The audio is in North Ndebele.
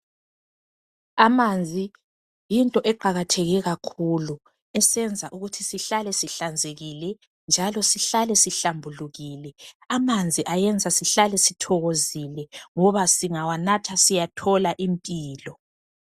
Amanzi yinto eqakatheke kakhulu esenza ukuthi sihlale sihlanzekile njalo sihlale sihlambulukile. Amanzi ayenza sihlale sithokozile ngoba singawanatha siyathola impilo.